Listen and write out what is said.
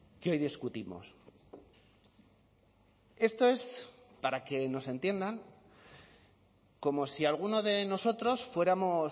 que hoy discutimos esto es para que nos entiendan como si alguno de nosotros fuéramos